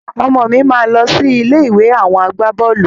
Ọmọ mi máa lọ sí ilé ìwé àwọn agbaboolu